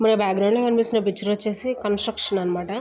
మనకి బాక్గ్రౌండ్ లో కనిపిస్తున్న పిక్చర్ వచ్చేసి కన్స్ట్రక్షన్ అన్నమాట.